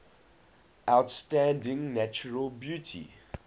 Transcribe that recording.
outstanding natural beauty